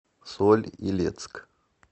соль илецк